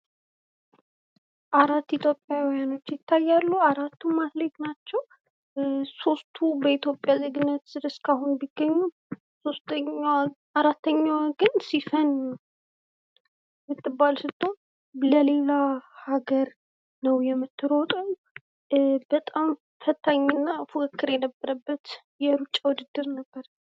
አራት ኢትዮጵያዊያን ይታያሉ። እነዚህም አትሌት ናቸው። ሶስቱ እስካሁን በኢትዮጵያ ዜግነት ሲገኙ አራተኛዋ ግን ሲፈን ምትባል ስትሆን ለሌላ ሀገር ነው ምትሮጠው። በጣም ፈታኝና ፉክክር ያለበት የሩጫ ውድድር ነበር።